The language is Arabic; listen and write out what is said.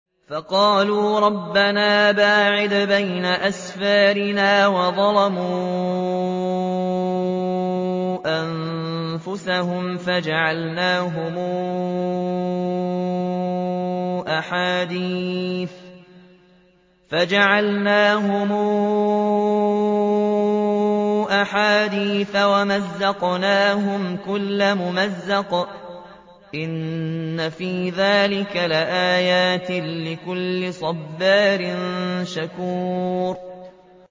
فَقَالُوا رَبَّنَا بَاعِدْ بَيْنَ أَسْفَارِنَا وَظَلَمُوا أَنفُسَهُمْ فَجَعَلْنَاهُمْ أَحَادِيثَ وَمَزَّقْنَاهُمْ كُلَّ مُمَزَّقٍ ۚ إِنَّ فِي ذَٰلِكَ لَآيَاتٍ لِّكُلِّ صَبَّارٍ شَكُورٍ